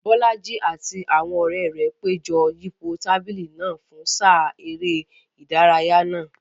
Bolaji àti àwọn ọ̀rẹ́ rẹ̀ péjọ yípo tábìlì náà fún sáà eré ìdárayá náà.